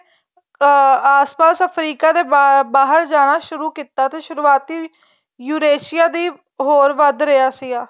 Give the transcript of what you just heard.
ਅਹ ਆਸਪਾਸ ਅਫਰੀਕਾ ਦੇ ਬਹਾਰ ਜਾਣਾ ਸੁਰੂ ਕੀਤਾ ਤੇ ਸੁਰੂਆਤੀ ureshia ਵੀ ਹੋਰ ਵੱਧ ਰਿਹਾ ਸੀਗਾ